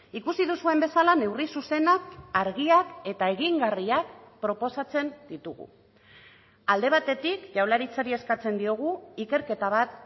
ikusi duzuen bezala neurri zuzenak argiak eta egingarriak proposatzen ditugu alde batetik jaurlaritzari eskatzen diogu ikerketa bat